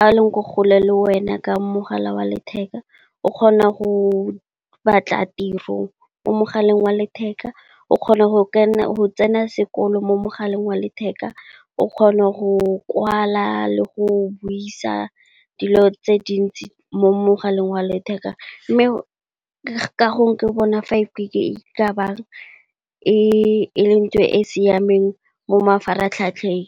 a leng ko kgole le wena ka mogala wa letheka, o kgona go batla tiro mo mogaleng wa letheka, o kgona go tsena sekolo mo mogaleng wa letheka, o kgone go kwala le go buisa dilo tse dintsi mo mogaleng wa letheka. Mme, ka gongwe ke bona fiveG e lentho e e siameng mo mafaratlhatlheng.